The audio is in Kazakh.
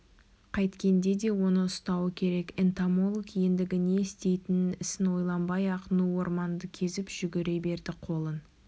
қайткенде де оны ұстауы керек энтомолог ендігі істейтін ісін ойланбай-ақ ну орманды кезіп жүгіре берді қолын